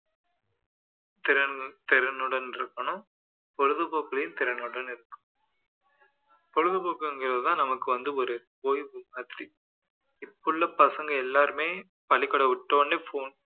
திறன் திறனுடன் இருக்கணும் பொழுது போக்குலேயும் திறனுடன் இருக்கணும் பொழுது போக்குங்கிறதுதான் நமக்கு வந்து ஓர் ஓய்வு மாதிரி இப்போ உள்ள பசங்க எல்லாருமே பள்ளிக்கூடம் விட்ட உடனே phone